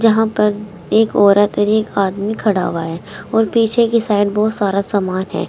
यहां पर एक औरत और एक आदमी खड़ा हुआ है और पीछे की साइड बहुत सारा सामान है।